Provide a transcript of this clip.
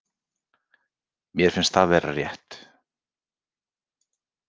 Mér finnst það vera rétt.